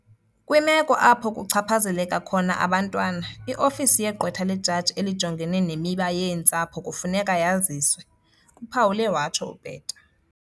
"Kwimeko apho kuchaphazeleka khona abantwana, i-Ofisi yeGqwetha leJaji eliJongene neMiba yeeNtsapho kufuneka yaziswe," uphawule watsho uPeta.